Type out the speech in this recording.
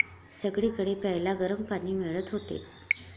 सगळीकडे प्यायला गरम पाणी मिळत होते.